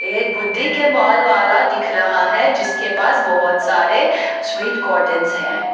एक बुड्ढी के बाल वाला दिख रहा है जिसके पास बहुत सारे स्वीट काटन्स हैं।